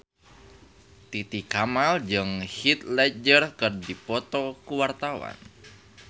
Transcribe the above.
Titi Kamal jeung Heath Ledger keur dipoto ku wartawan